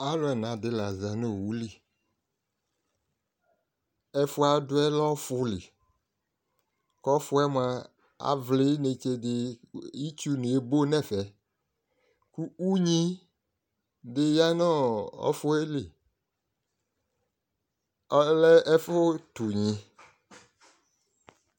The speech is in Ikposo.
alo ɛna di la za no owu li ɛfoɛ adoɛ lɛ ɔfo li ko ɔfoɛ moa avli inetse di ko itsu ebo no ɛfɛ ko unyi di ya no ɔfoɛ li ɔlɛ ɛfo to unyi